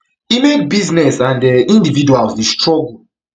e make businesses and um individuals dey struggle